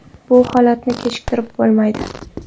Bu holatni kechirib bo‘lmaydi.